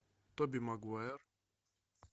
тоби магуайр